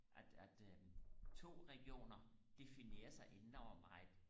at at øh to regioner definerer sig enormt meget